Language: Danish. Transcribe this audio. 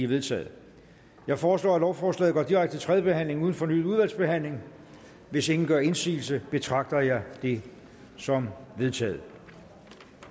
vedtaget jeg foreslår at lovforslaget går direkte til tredje behandling uden fornyet udvalgsbehandling hvis ingen gør indsigelse betragter jeg det som vedtaget